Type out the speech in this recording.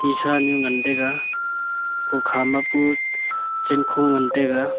shisha nyu ngan taiga kukha ma pu chenkho ngan taiga.